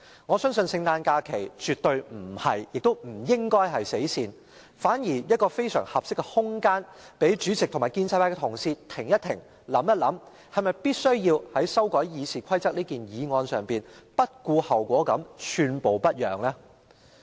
我相信聖誕假期絕不是亦不應是"死線"，反而是非常合適的空間讓主席及建制派同事停一停，想一想，是否必須在這項修改《議事規則》的擬議決議案上不顧後果，寸步不讓呢？